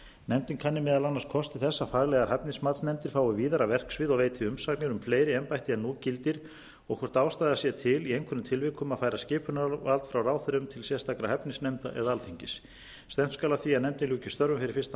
nefndin kanni meðal annars kosti þess að faglegar hæfnismatsnefndir fái víðara verksvið og veiti umsagnir um fleiri embætti en nú gildir og hvort ástæða sé til í einhverjum tilvikum að færa skipunarvald frá ráðherrum til sérstakra hæfnisnefnda eða alþingis stefnt skal að því að nefndin ljúki störfum fyrir fyrsta